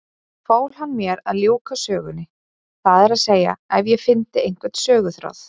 Fól hann mér að ljúka sögunni, það er að segja ef ég fyndi einhvern söguþráð.